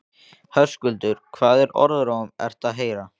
Höskuldur: Hvaða orðróm ert þú að heyra?